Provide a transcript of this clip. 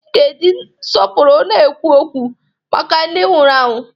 I ga-eji nsọpụrụ na-ekwu okwu maka ndị nwụrụ anwụ!